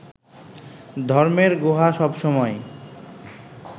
ধর্মের গুহা সবসময়ই